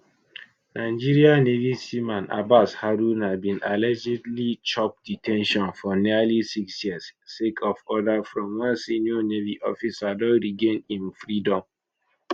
nigeria navy seaman abbas haruna bin allegedly chop de ten tion for nearly six years sake of order from one senior navy officer don regain im freedom